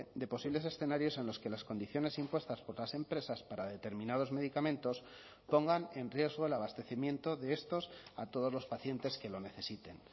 de posibles escenarios en los que las condiciones impuestas por las empresas para determinados medicamentos pongan en riesgo el abastecimiento de estos a todos los pacientes que lo necesiten